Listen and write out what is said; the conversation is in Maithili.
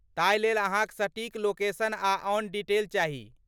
ताहि लेल अहाँक सटीक लोकेशन आ आन डिटेल चाही।